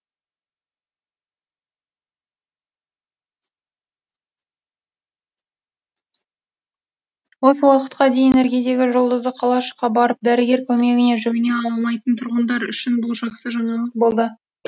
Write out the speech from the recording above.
осы уақытқа дейін іргедегі жұлдызды қалашыққа барып дәрігер көмегіне жүгіне алмайтын тұрғындар үшін бұл жақсы жаңалық болды